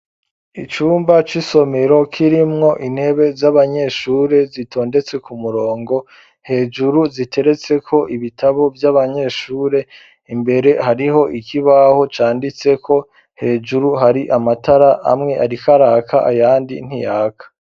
Icumba c'isomero kirimwo intebe z'abanyeshure zitondetse ku murongo hejuru ziteretseko ibitabo vy'abanyeshure imbere hariho ikibaho canditseko hejuru hari amatara amwe ariko araka ayandi ntiyaka.